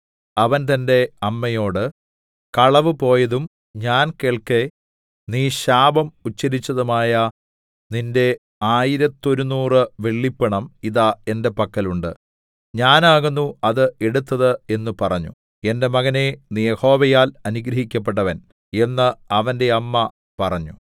അവൻ തന്റെ അമ്മയോട് കളവുപോയതും ഞാൻ കേൾക്കെ നീ ശാപം ഉച്ചരിച്ചതുമായ നിന്റെ ആയിരത്തൊരുനൂറു വെള്ളിപ്പണം ഇതാ എന്റെ പക്കൽ ഉണ്ട് ഞാനാകുന്നു അത് എടുത്തത് എന്ന് പറഞ്ഞു എന്റെ മകനേ നീ യഹോവയാൽ അനുഗ്രഹിക്കപ്പെട്ടവൻ എന്ന് അവന്റെ അമ്മ പറഞ്ഞു